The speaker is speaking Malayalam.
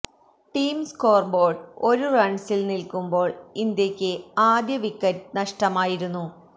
ടീം സ്കോര് ബോര്ഡ്് ഒരു റണ്സില് നില്ക്കുമ്പോള് ഇന്ത്യക്ക് ആദ്യ വിക്കറ്റ് നഷ്ടമായിരുന്നു